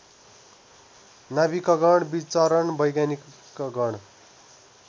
नाविकगण विचरण वैज्ञानिकगण